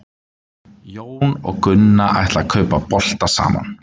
jón og gunna ætla að kaupa bolta saman